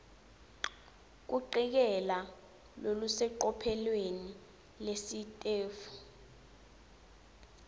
kucikelela lolusecophelweni lelisetulu